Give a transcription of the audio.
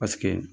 Paseke